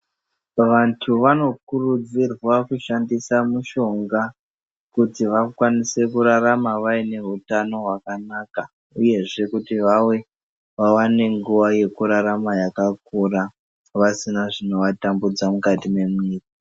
Vantu vanokuridzirwa kushandisa mushonga kuti vakwanise kurarama vaineutano wakanaka uyezve kuti vawane nguva yekurarama yakakura vasina zvinovatambudza mukati memwiri.